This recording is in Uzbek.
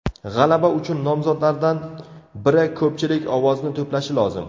G‘alaba uchun nomzodlardan biri ko‘pchilik ovozni to‘plashi lozim.